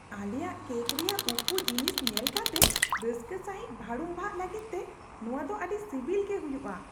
ᱟᱞᱮᱭᱟᱜ ᱠᱮᱠ ᱨᱮᱭᱟᱜ ᱩᱠᱩ ᱡᱤᱱᱤᱥ ᱧᱮᱞ ᱠᱟᱛᱮ ᱨᱟᱹᱥᱠᱟᱹ ᱥᱟᱹᱦᱤᱡ ᱵᱷᱟᱹᱲᱩᱢᱵᱷᱟᱜᱚᱜ ᱞᱟᱹᱜᱤᱫᱛᱮ, ᱱᱚᱶᱟ ᱫᱚ ᱟᱹᱰᱤ ᱥᱤᱵᱤᱞ ᱜᱮ ᱦᱩᱭᱩᱜᱼᱟ ᱾